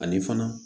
Ani fana